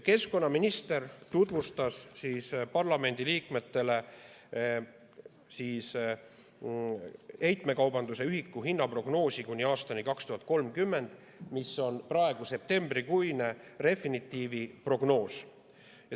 Keskkonnaminister tutvustas parlamendiliikmetele heitmekaubanduse ühiku hinna prognoosi kuni aastani 2030, mis on praegu septembrikuine Refinitivi prognoos.